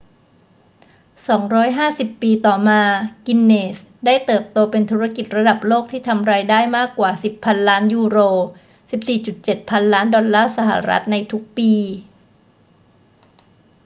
250 ปีต่อมา กินเนสส์ได้เติบโตเป็นธุรกิจระดับโลกที่ทำรายได้มากกว่า 10 พันล้านยูโร 14.7 พันล้านดอลลาร์สหรัฐ ในทุกปี